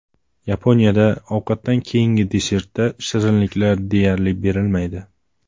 Yaponiyada ovqatdan keyingi desertda shirinliklar deyarli berilmaydi.